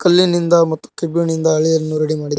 ಕಲ್ಲಿನಿಂದ ಮತ್ತು ಕೇಬ್ಬಿನಿಂದ ಅಳಿಯನ್ನು ರೆಡಿ--